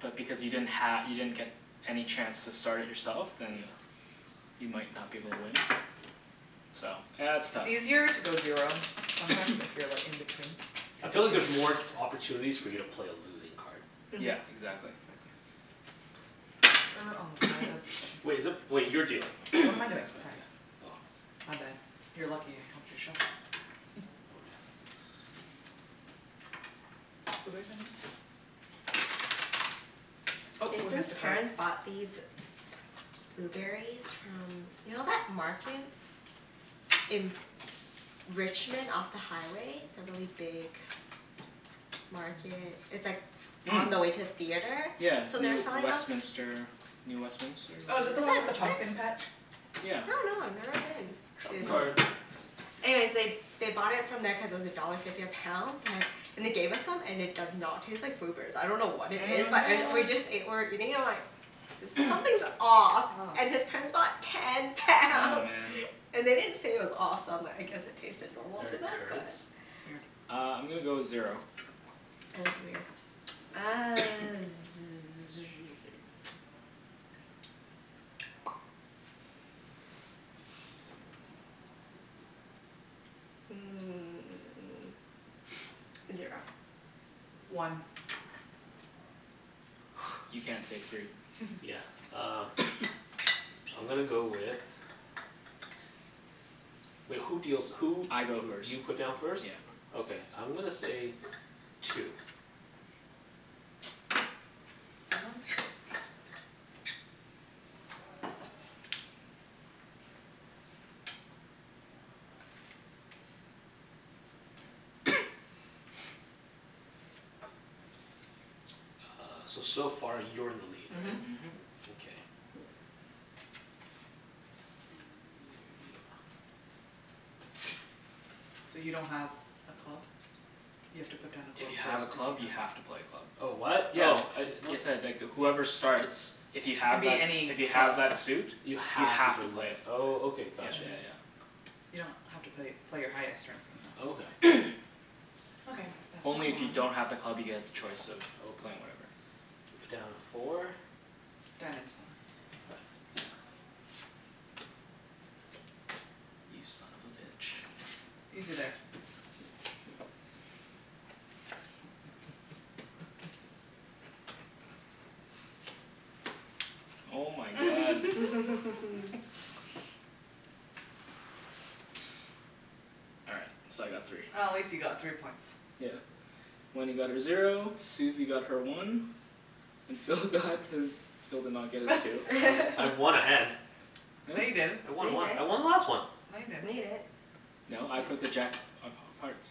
Yeah. But because you didn't ha- you didn't get any chance to start it yourself then you might not be able to win. So, yeah it's It's tough. easier to go zero, sometimes if you're like in between. I feel like there's more opportunities for you to play a losing card. Yeah, Mhm. exactly. Exactly. Wait, is it, wait, you're dealing. What am I doing, sorry. Oh My bad. You are lucky I helped you shuffle. Jason's parents bought these blueberries from, you know that market in Richmond off the highway, the really big market, it's like on the way to a theatre? Yeah So they were Near selling them Westminister, New Westminister Oh is whatever that the one with the pumpkin patch I Yeah. dunno, I've never been. Trump card. Yeah. Anyways they, they bought it from there cuz it was a dollar fifty a pound but, and they gave us some and it does not taste like blueberries, I dunno what it is But it, What? we What? just ate, we're eating and we're like, there's, something's off. Oh. And his parents bought ten Oh pounds. man And they didn't say it was off so I'm like I guess it tasted normal to They're them? currants? Uh, I'm gonna go zero. Yeah, it was weird. Uh hmm zero. One You can't say three Yeah, um. I'm gonna go with, wait who deals who I go first. You put down first? Yeah. Okay I'm gonna say two. Uh, so so far you're in the lead, right? Mhm. Mhm. Okay. So you don't have a club? You have to put down a If club you have first. a club you have to play a club. Oh what? Yeah, Oh. I, whoever starts, if you It can have be that, any if you have club. that suit You You have to have to play play it, it. oh Okay, Yeah got you. yeah yeah. You don't have to play, play your highest or anything though. Okay. Only if you don't have a club you get the choice of playing whatever. You put down four. Diamonds more Diamonds You son of a bitch. Easy there. Oh my god. All right, so I got three. Oh at least you got three points. Yeah. Wenny got her zero, Susie got her one, and Phil got his, Phil did not get his two. I w- I won a hand No, you didn't I No, won you one. I didn't won the last one! No, you No, you didn't didn't No, I put the jack of of of hearts.